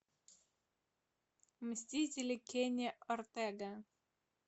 мстители кенни ортега